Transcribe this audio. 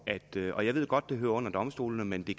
og jeg ved godt at det hører under domstolene men det